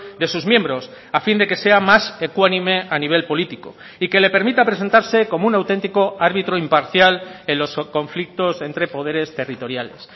de sus miembros a fin de que sea más ecuánime a nivel político y que le permita presentarse como un auténtico árbitro imparcial en los conflictos entre poderes territoriales